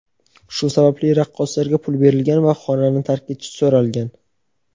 Shu sababli raqqosalarga pul berilgan va xonani tark etishi so‘ralgan.